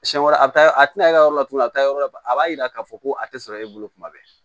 Siɲɛ wɛrɛ a bɛ taa a tɛna e ka yɔrɔ laturu a bɛ taa yɔrɔ la a b'a yira k'a fɔ ko a tɛ sɔrɔ e bolo tuma bɛɛ